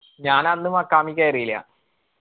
ഞാൻ അന്ന് മഖാമിയ്‌ കേറിയില്ല.